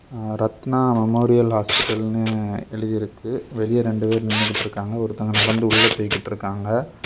ஆ Ratna memorial ஹாஸ்பிடல்னு எழுதி இருக்கு வெளிய ரெண்டு பேர் நின்னுகிட்டு இருக்காங்க ஒருத்தங்க நடந்து உள்ள போயிகிட்டு இருக்காங்க.